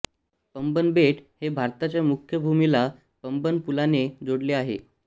पंबन बेट हे भारताच्या मुख्य भूमीला पंबन पुलाने जोडले आहे